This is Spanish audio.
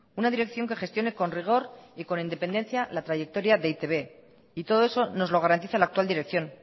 una dirección que gestione con rigor y con independencia la trayectoria de e i te be y todo eso nos lo garantiza la actual dirección